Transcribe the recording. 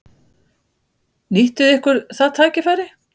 Nýttu þið ykkur það tækifæri?